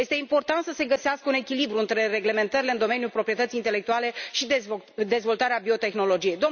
Este important să se găsească un echilibru între reglementările în domeniul proprietății intelectuale și dezvoltarea biotehnologiei.